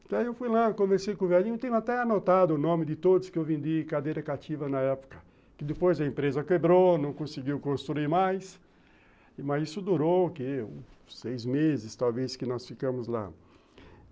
Então eu fui lá, conversei com o velhinho, tenho até anotado o nome de todos que eu vendi cadeira cativa na época, que depois a empresa quebrou, não conseguiu construir mais, mas isso durou o quê seis meses, talvez, que nós ficamos lá.